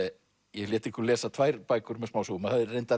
ég lét ykkur lesa tvær bækur með smásögum og